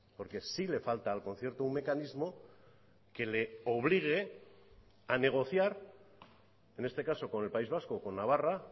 porque sí le falta al concierto un mecanismo que le obligue a negociar en este caso con el país vasco o con navarra